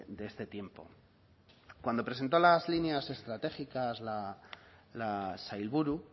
de este tiempo cuando presentó las líneas estratégicas la sailburu